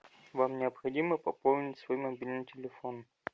вам необходимо пополнить свой мобильный телефон